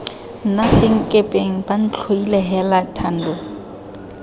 nna senkepeng bantlhoile heela thando